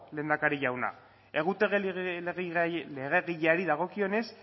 lehendakari jauna egutegi legegileari dagokionez